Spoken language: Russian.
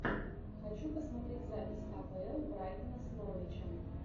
хочу посмотреть запись апл брайтона с норвичем